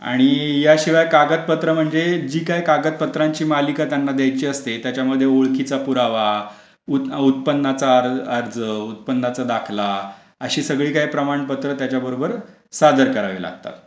आणि याशिवाय कागदपत्र म्हणजे जी काय कागदपत्रांची मालिका त्यांना द्यायची असते त्याच्यामध्ये ओळखीचा पुरावा उत्पन्नाचा अर्ज उत्पन्नाचा दाखला अशी सगळी काही प्रमाणपत्र त्याच्याबरोबर सादर करावी लागतात.